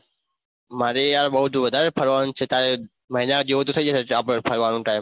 મારે યાર બૌજ વધારે ફરવાનું છે તારે મહીના જેવું તો થઇ જશે આપણે ફરવાન time